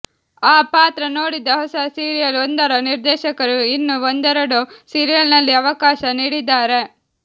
ಆ ಪಾತ್ರ ನೋಡಿದ ಹೊಸ ಸೀರಿಯಲ್ ಒಂದರ ನಿರ್ದೇಶಕರು ಇನ್ನು ಒಂದೆರೆಡು ಸೀರಿಯಲ್ನಲ್ಲಿಅವಕಾಶ ನೀಡಿದ್ದಾರೆ